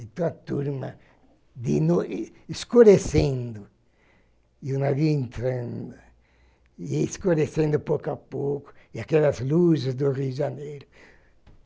E toda a turma, de noi escurecendo, e o navio entrando, e escurecendo, pouco a pouco, e aquelas luzes do Rio de Janeiro.